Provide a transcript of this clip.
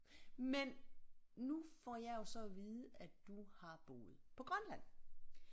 Men nu får jeg jo så at vide at du har boet på Grønland